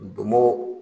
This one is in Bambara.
Bomo